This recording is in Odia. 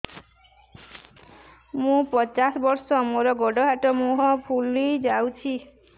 ମୁ ପଚାଶ ବର୍ଷ ମୋର ଗୋଡ ହାତ ମୁହଁ ଫୁଲି ଯାଉଛି